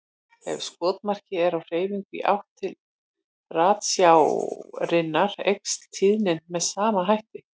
Ef skotmarkið er á hreyfingu í átt til ratsjárinnar eykst tíðnin með sama hætti.